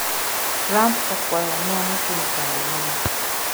Trump okwayo ng'uono kuom chando mon